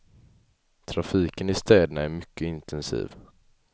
Trafiken i städerna är mycket intensiv.